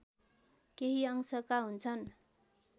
केही अंशका हुन्छन्